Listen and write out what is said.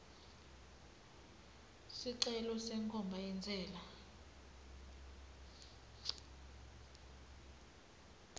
sicelo senkhomba yentsela